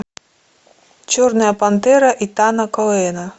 черная пантера итана коэна